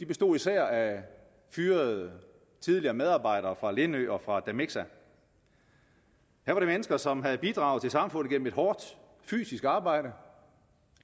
bestod af fyrede tidligere medarbejder fra lindø og fra damixa her var mennesker som havde bidraget til samfundet gennem et hårdt fysisk arbejde